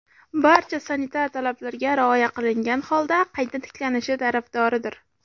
barcha sanitar talablarga rioya qilingan holda qayta tiklanishi tarafdoridir.